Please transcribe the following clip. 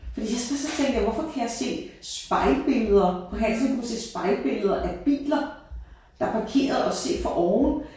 Fordi først så tænkte jeg hvorfor kan jeg se spejlbilleder på halsen der kunne jeg se spejlbilleder af biler der er parkeret og set fra oven